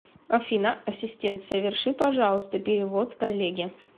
афина ассистент соверши пожалуйста перевод коллеге